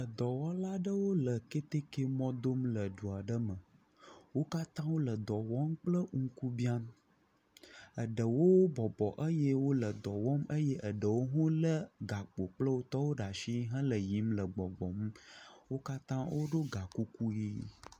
Edɔwɔlawo le ketekemɔ dom le du aɖe me. Wo katã wo le dɔ wɔm kple ŋkubia. Eɖewo bɔbɔ eye wo le dɔ wɔm eye eɖewo bu le gakpo kple wo tɔwo ɖe asi hele yiyim le gbɔgbɔm. Wo katã woɖo ga kuku ʋi.